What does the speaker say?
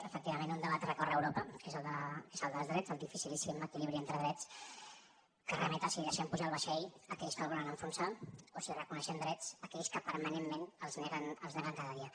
efectivament un debat recorre eu ropa que és el dels drets el dificilíssim equilibri entre drets que remet a si deixem pujar al vaixell aquells que el volen enfonsar o si reconeixem drets a aquells que permanentment els neguen cada dia